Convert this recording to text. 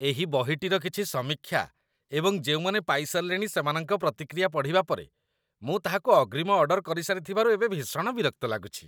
ଏହି ବହିଟିର କିଛି ସମୀକ୍ଷା ଏବଂ ଯେଉଁମାନେ ପାଇସାରିଲେଣି ସେମାନଙ୍କ ପ୍ରତିକ୍ରିୟା ପଢ଼ିବା ପରେ, ମୁଁ ତାହାକୁ ଅଗ୍ରିମ ଅର୍ଡର କରିସାରିଥିବାରୁ ଏବେ ଭୀଷଣ ବିରକ୍ତ ଲାଗୁଛି।